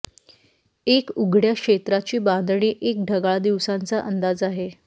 एक उघड्या क्षेत्राची बांधणी एक ढगाळ दिवसांचा अंदाज आहे